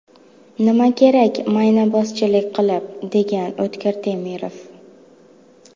Nima kerak maynabozchilik qilib”, degan O‘tkir Temirov.